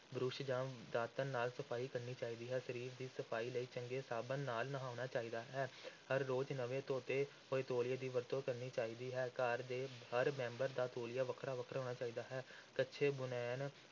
brush ਜਾਂ ਦਾਤਣ ਨਾਲ ਸਫ਼ਾਈ ਕਰਨੀ ਚਾਹੀਦੀ ਹੈ, ਸਰੀਰ ਦੀ ਸਫ਼ਾਈ ਲਈ ਚੰਗੇ ਸਾਬਣ ਨਾਲ ਨਹਾਉਣਾ ਚਾਹੀਦਾ ਹੈ ਹਰ ਰੋਜ਼ ਨਵੇਂ ਧੋਤੇ ਹੋਏ ਤੌਲੀਏ ਦੀ ਵਰਤੋਂ ਕਰਨੀ ਚਾਹੀਦੀ ਹੈ, ਘਰ ਦੇ ਹਰ ਮੈਂਬਰ ਦਾ ਤੌਲੀਆ ਵੱਖਰਾ ਵੱਖਰਾ ਹੋਣਾ ਚਾਹੀਦਾ ਹੈ, ਕੱਛੇ ਬੁਨੈਣ